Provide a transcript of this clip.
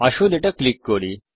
আসুন এটা ক্লিক করি